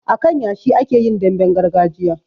A kan yashi ake yin damben gargajiya